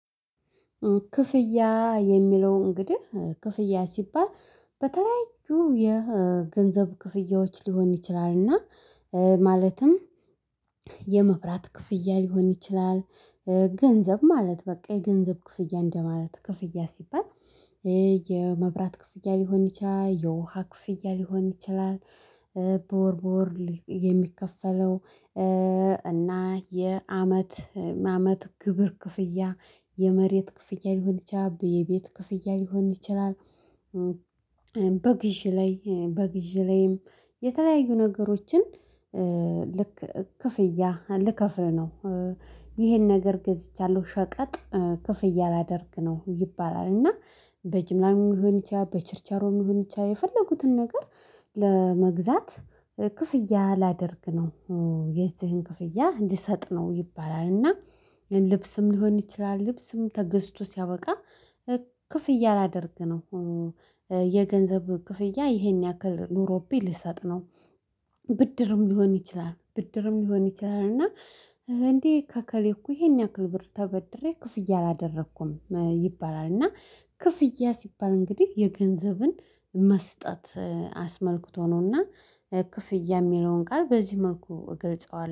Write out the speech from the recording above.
ክፍያ የሚለው እንግዲህ ክፍያ ሲባል በተለያዩ የገንዘብ ክፍያዎች ሊሆን ይችላል እና ማለትም የመብራት ክፍያ ሊሆን ይችላል። ገንዘብ ማለት በቃ የገንዘብ ክፍያ እንደማለት ክፍያ ሲባል እ የመብራት ክፍያ ሊሆን ይችላል የውሃ ክፍያ ሊሆን ይችላል። በወር በወር የሚከፈለው እ እና የአመት አመት ግብር ክፍያ የመሬት ክፍያ ሊሆን ይችላል የቤት ክፍያ ሊሆን ይችላል። በግዢ ላይ በግዢ ላይም የተለያዩ ነገሮችን ልክ ክፍያ ልከፍል ነው። ይሄን ነገር ገዝቻለሁ ሸቀጥ ክፍያ ላደርግ ነው ይባላል። እና በጅምላም ሊሆን ይችላል በችርቻሮም ሊሆን ይችላል የፈለጉትን ነገር ለመግዛት ክፍያ ላደርግ ነው። የዚህን ክፍያ እንዲሰጥ ነው ይባላል። እና ልብስም ሊሆን ይችላል ልብስም ተገዝቶ ሲያበቃ ክፍያ ላደርግ ነው። የገንዘብ ክፍያ ይሄን ያክል ኖሮብኝ ልሰጥ ነው። ብድርም ሊሆን ይችላል ብድርም ሊሆን ይችላል እና እንዴ ከከሌ እኮ ይሄን ያክል ብር ተበድሬ ክፍያ አላደረኩም ይባላል። እና ክፍያ ሲባል እንግዲህ የገንዘብን መስጠት አስመልክቶ ነውና። ክፍያ የሚለውን ቃል በዚህ መልኩ እገልጸዋለ